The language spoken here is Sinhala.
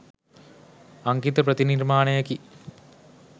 අංකිත ප්‍රතිනිර්මාණයකි.